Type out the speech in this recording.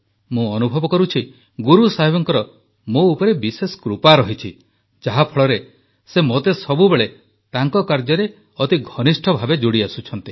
ମୁଁ ଅନୁଭବ କରୁଛି ଗୁରୁସାହେବଙ୍କର ମୋ ଉପରେ ବିଶେଷ କୃପା ରହିଛି ଯାହାଫଳରେ ସେ ମୋତେ ସବୁବେଳେ ତାଙ୍କ କାର୍ଯ୍ୟରେ ଅତି ଘନିଷ୍ଠ ଭାବେ ଯୋଡ଼ିଆସୁଛନ୍ତି